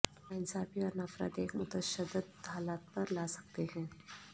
ناانصافی اور نفرت ایک متشدد حالت پر لا سکتے ہیں